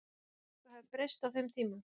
Telur þú að eitthvað hafi breyst á þeim tíma?